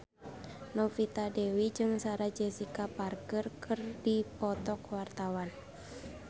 Novita Dewi jeung Sarah Jessica Parker keur dipoto ku wartawan